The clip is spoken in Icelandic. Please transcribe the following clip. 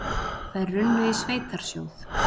Þær runnu í sveitarsjóð.